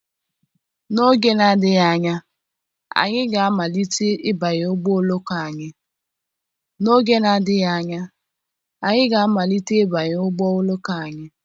n'oge na-adịghị anya anyị ga-amalite ịbanye ụgbọ oloko anyị